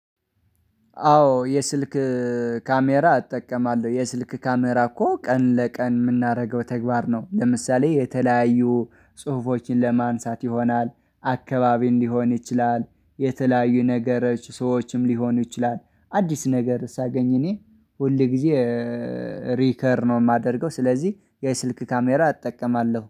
አዎ የስልክ ካሜራ እጠቀማለሁ የስልክ ካሜራ እኮ ቀን ለቀን የምናደርገው ተግባር ነው። ለምሳሌ የተለያዩ ጽሁፎችን ለማንሳት ይሆናል አካባቢ እንዲሆን ይችላል የተለያዩ ነገሮች ሰዎችም ሊሆኑ ይችላል አዲስ ነገር ሳገኝ እኔ ሁል ጊዜ ሪከር ነው የማደርገው። ስለዚህ የስልክ ካሜራ እጠቀማለሁ